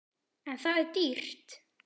En það er dýrt.